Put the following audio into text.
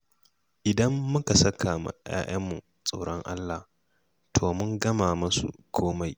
Idan muka saka wa 'ya'yanmu tsoron Allah, to mun gama musu komai.